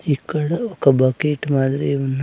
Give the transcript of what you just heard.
ఇక్కడ ఒక బకెట్ మాదిరి ఉన్న--